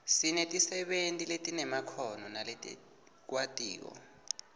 sinetisebenti letinemakhono naletikwatiko